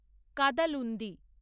Kadalundi